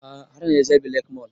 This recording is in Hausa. A'a har na je jabi lake mall